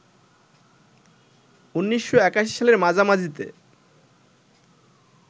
১৯৮১ সালের মাঝামাঝিতে